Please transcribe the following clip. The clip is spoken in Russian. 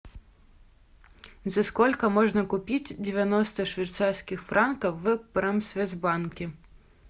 за сколько можно купить девяносто швейцарских франков в промсвязьбанке